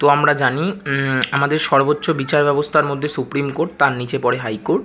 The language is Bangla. তো আমরা জানি উম- আমাদের সবোর্চ বিচার ব্যাবস্থার মধ্যে সুপ্রিম কোর্ট তার নিচে পরে হাই কোর্ট ।